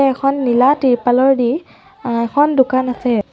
এখন নীলা টিৰপালৰদি অ এখন দোকান আছে।